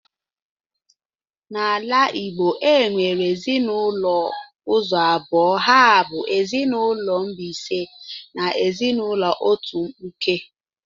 Na ala Igbo e nwere ezinụlọ ụzọ abụọ ha bu ezinụlọ mbisa na ezinụlọ otu mkpụke